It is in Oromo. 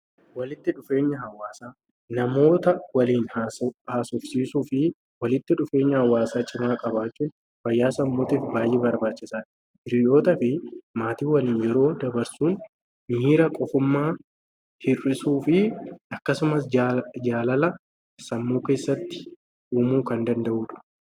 Walitti dhufeenya hawwaasaa: Namoota waliin haasofsiisuu fi walitti dhufeenya hawwaasaa cimaa qabaachuun fayyaa sammuutiif baay'ee barbaachisaadha. Hiriyootaa fi maatii waliin yeroo dabarsuun miira qofummaa hir'isuu fi akkasumas jaalala sammuu keessatti uumuu kan danda'uudha.